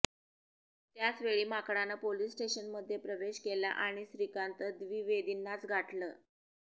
त्याचवेळी माकडानं पोलिस स्टेशनमध्ये प्रवेश केला आणि श्रीकांत द्विवेदींनाच गाठलं